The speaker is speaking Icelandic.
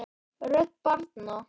Rödd barna